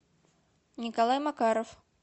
николай макаров